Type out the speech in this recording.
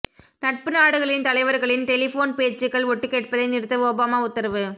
நட்பு நாடுகளின் தலைவர்களின் டெலிபோன் பேச்சுகள் ஒட்டுகேட்பதை நிறுத்த ஒபாமா உத்தரவு